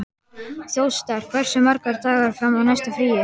Þjóstar, hversu margir dagar fram að næsta fríi?